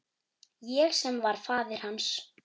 Ég sem var faðir hans.